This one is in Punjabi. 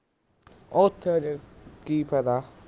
ਓਥੇ ਫੇਰ ਕਿ ਫਾਇਦਾ